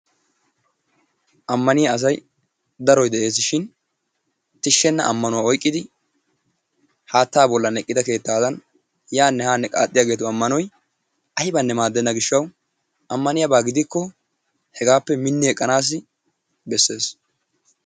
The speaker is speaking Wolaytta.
Ammanniya asay daroy de'ees shin tishshenna ammanuwa oyqqidi haattaa bollan eqqida keettaadan yaanne haanne qaaxiyaagetu ammanoy aybbanne maaddenna gishshawu ammaniyaaba giddikko hegaappe mini eqqanaassi bessees.